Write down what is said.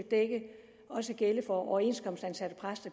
gælde for overenskomstansatte præster